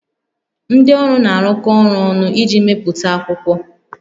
Ndị ọrụ na-arụkọ ọrụ ọnụ iji mepụta akwụkwọ